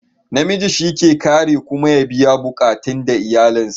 Na miji shi ke kare kuma ya biya buƙatan da iyalin sa